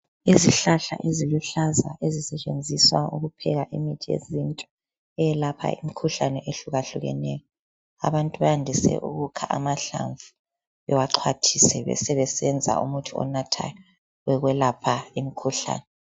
Izihlahla eziluhlaza ezisetshenziswa ukupheka imithi yesintu eyelapha umkhuhlane ehluka hlukeneyo, abantu bayandise ukukha amahlamvu bawaxhwathise, besebesenza umuthi onathwayo wokwelapha imikhuhlane.